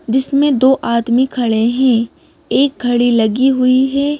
जिसमें दो आदमी खड़े हैं एक घड़ी लगी हुई है।